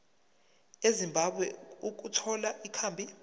ezimbabwe ukuthola ikhambi